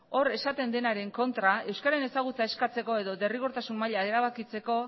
hor esaten denaren kontra euskararen ezagutza eskatzeko edo derrigortasun maila erabakitzeko